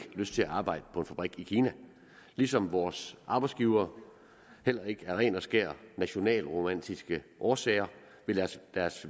lyst til at arbejde på en fabrik i kina ligesom vores arbejdsgivere heller ikke af ren og skær nationalromantiske årsager vil lade deres